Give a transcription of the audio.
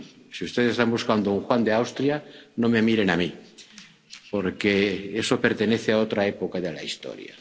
Si ustedes están buscando un Juan de Austria, no me miren a mí, porque eso pertenece a otra época de la historia.